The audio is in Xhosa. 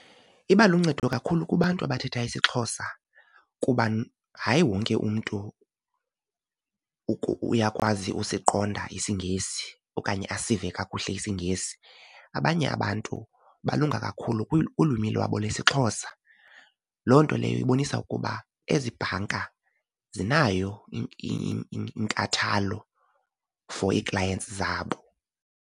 Iba luncedo kakhulu kubantu abathetha isiXhosa kuba hayi wonke umntu uyakwazi usiqonda isiNgesi okanye asive kakuhle isiNgesi. Abanye abantu balunga kakhulu kulwimi lwabo lwesiXhosa. Loo nto leyo ibonisa ukuba ezi bhanka zinayo inkathalo for i-clients zabo.